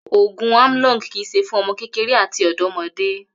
Ògùn Amlong kì í s̩e fún o̩mo̩ kékeré àti ò̩dó̩mo̩dé